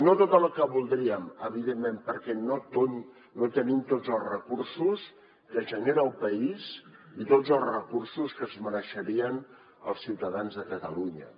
no tota la que voldríem evidentment perquè no tenim tots els recursos que genera el país i tots els recursos que es mereixerien els ciutadans de catalunya